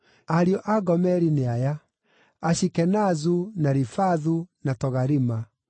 Ariũ a Gomeri nĩ aya: Ashikenazu, na Rifathu, na Togarima.